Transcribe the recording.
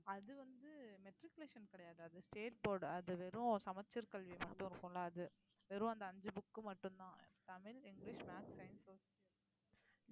அது வந்து matriculation கிடையாது அது state board அது வெறும் சமச்சீர் கல்வி மட்டும் இருக்கும்ல அது வெறும் அந்த அஞ்சு book மட்டும்தான் Tamil, English maths, science, social